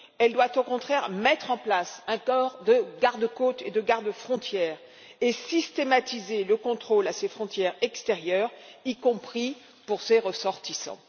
Elle doit au contraire mettre en place un corps de garde frontières et de garde côtes, et systématiser le contrôle à ses frontières extérieures, y compris pour ses ressortissants.